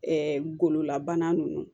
gololabana ninnu